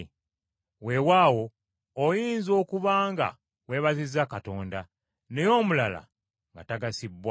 Weewaawo oyinza okuba nga weebazizza Katonda, naye omulala nga tagasibbwa.